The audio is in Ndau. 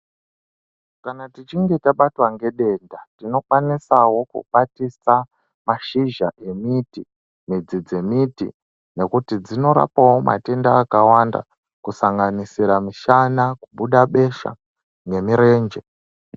Kana tichinge tabatwa nedenda tinovakwanisawo kukwatisa mashizha emiti , midzi dzemiti nekuti dzinorapawo matenda akawanda kusanganisira mishana , kubuda besha nemurenje